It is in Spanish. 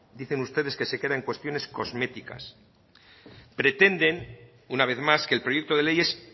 dicen ustedes que se crean cuestiones cosméticas pretenden una vez más que el proyecto de ley es